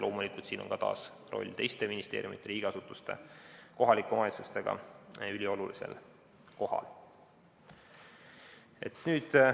Loomulikult on siin taas koostöö teiste ministeeriumide, riigiasutuste ja kohalike omavalitsustega üliolulisel kohal.